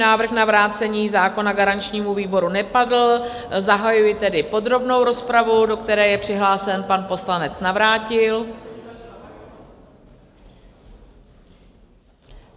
Návrh na vrácení zákona garančnímu výboru nepadl, zahajuji tedy podrobnou rozpravu, do které je přihlášen pan poslanec Navrátil.